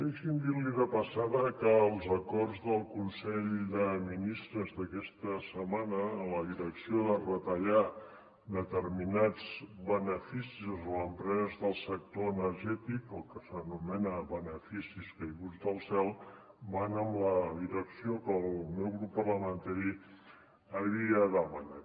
deixi’m dir li de passada que els acords del consell de ministres d’aquesta setmana en la direcció de retallar determinats beneficis d’empreses del sector energètic el que s’anomena beneficis caiguts del cel van en la direcció que el meu grup parlamentari havia demanat